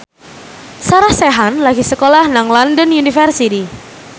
Sarah Sechan lagi sekolah nang London University